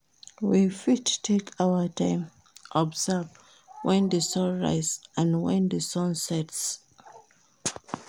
We fit take our time observe when di sun rise and when di sun sets